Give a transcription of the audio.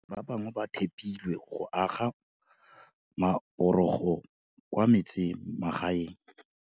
Ba bangwe ba tha pilwe go aga maporogo kwa metsemagaeng.